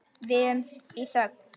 Við erum í þögn.